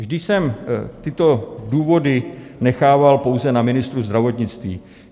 Vždy jsem tyto důvody nechával pouze na ministru zdravotnictví.